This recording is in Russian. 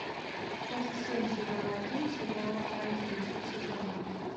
часть семь сезон один сериала оранжевый хит сезона